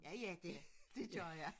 Ja ja det dét gjorde jeg